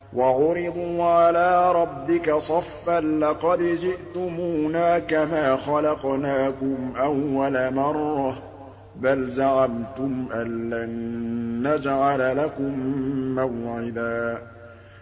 وَعُرِضُوا عَلَىٰ رَبِّكَ صَفًّا لَّقَدْ جِئْتُمُونَا كَمَا خَلَقْنَاكُمْ أَوَّلَ مَرَّةٍ ۚ بَلْ زَعَمْتُمْ أَلَّن نَّجْعَلَ لَكُم مَّوْعِدًا